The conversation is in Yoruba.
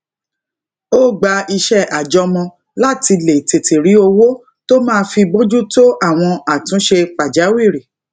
ó gba iṣé àjọmọ láti lè tètè rí owó tó máa fi bójú tó àwọn àtúnṣe pàjáwìrì